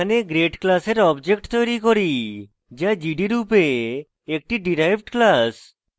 এখানে grade class object তৈরী করি যা gd রূপে একটি derived class